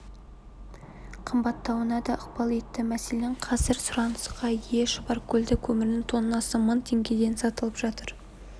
қымбаттауына да ықпал етті мәселен қазір сұранысқа ие шұбаркөлдің көмірінің тоннасы мың теңгеден сатылып жатыр